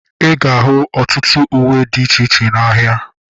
Ịga ahu ọtụtụ uwe dị iche iche n'ahia